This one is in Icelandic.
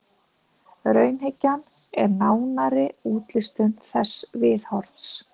Raunhyggjan er nánari útlistun þessa viðhorfs.